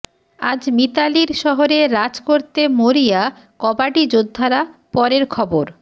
আজ মিতালির শহরে রাজ করতে মরিয়া কবাডি যোদ্ধারা পরের খবর